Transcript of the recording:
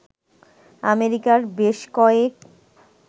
আমেরিকার বেশ কয়েক